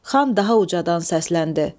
Xan daha ucadan səsləndi.